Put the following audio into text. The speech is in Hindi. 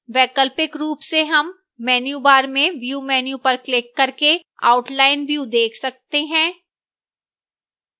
वैकल्पिक रूप से हम menu bar में view menu पर क्लिक करके outline view देख सकते हैं